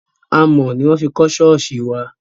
Amọ̀ ni wọn fi kọ ṣọ́ọ̀ṣì wa.